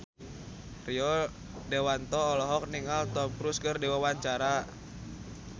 Rio Dewanto olohok ningali Tom Cruise keur diwawancara